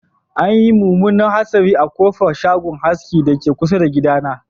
Anyi munmunan hatsari a kofar shagon askin dake kusa da gidana